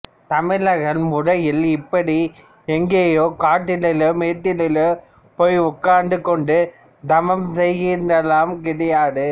தமிழர்கள் முறையில் இப்படி எங்கேயோ காட்டிலோ மேட்டிலோ போய் உட்கார்ந்து கொண்டு தவம் செய்கிறதெல்லாம் கிடையாது